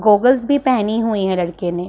Goggles भी पहनी हुई हैं लड़के ने।